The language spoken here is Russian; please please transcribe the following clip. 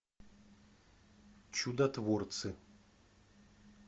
чудотворцы